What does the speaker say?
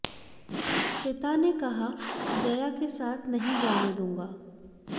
पिता ने कहा जया के साथ नहीं जाने दूंगा